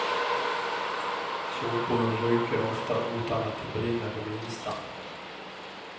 Sopor ryker ofta utan att det brinner det minsta.